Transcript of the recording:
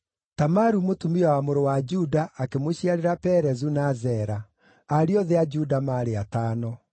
Tamaru, mũtumia wa mũrũ wa Juda, akĩmũciarĩra Perezu na Zera. Ariũ othe a Juda maarĩ atano.